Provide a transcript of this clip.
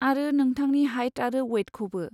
आरो नोंथांनि हाइट आरो वैटखौबो।